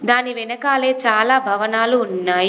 దాని వెనకాలే చాలా భవనాలు ఉన్నాయి.